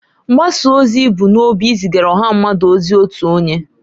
Mgbasa ozi bu n'obi izigara ọha mmadụ ozi otu onye.